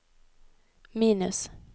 minus